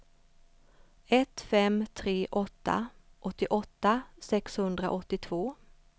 ett fem tre åtta åttioåtta sexhundraåttiotvå